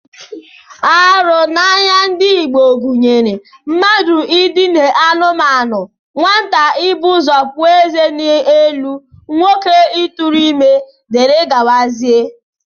Arụ n'anya ndị Igbo gụnyere mmadụ idina anụmanụ, nwata ibu ụzọ pụọ eze elu, nwoke ịtụrụ ime, dgz